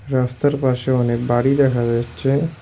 রাস্তার পাশে অনেক বাড়ি দেখা যাচ্ছে।